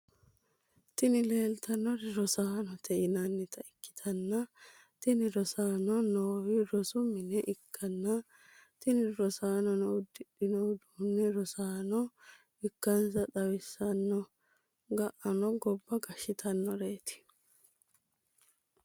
Tini leleitanori rosanote yinanita ikitana tini rosanono nowi rossu mine ikana tini rosanono udidhino udunino rosano ikanisa tawisanoho. ga’ano gobba gashshitanoreti.